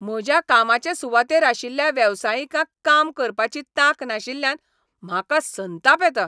म्हज्या कामाचे सुवातेर आशिल्ल्या वेवसायिकांक काम करपाची तांक नाशिल्ल्यान म्हाका संताप येता.